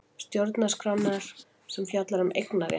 Stjórnarskrárinnar sem fjallar um eignarétt.